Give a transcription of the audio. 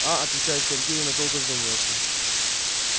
а отвечает сергей и надолго задумывается